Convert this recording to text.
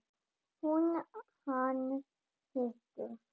Hún: Hann hitti.